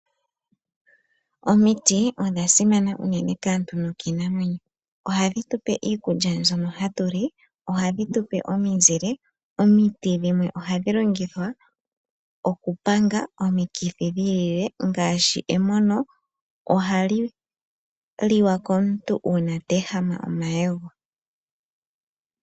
Omiti odha simana unene kaantu nokii namwenyo. Oha dhitupe iikulya mbyono hatu li, oha dhitupe omizile, omiti dhimwe ohadhi longithwa oku panga omikithi dhiilile ngaashi emono ohal liwa komuntu uuna teehama omayego.